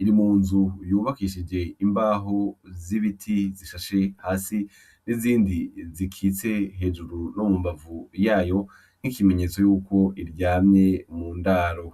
iri munzu yubakishije imbaho z'ibiti zishashe hasi n'izindi zikitse hejuru no mumbavu yayo. Nk'ikimenyetso yuko iryamye mu ndaro.